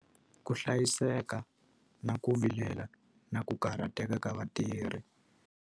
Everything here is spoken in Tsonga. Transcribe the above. Ku hlayiseka, na ku vilela, na ku karhateka ka vatirhi.